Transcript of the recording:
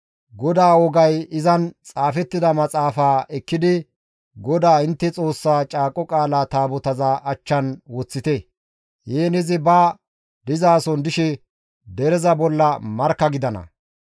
«GODAA wogay izan xaafettida maxaafaa ekkidi GODAA intte Xoossaa Caaqo Qaala Taabotaza achchan woththite; heen izi ba dizason dishe dereza bolla markka gidana.